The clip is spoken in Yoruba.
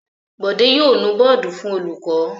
Bọ̀dé yóò nu bọ́ọ́dù fún olùkọ́.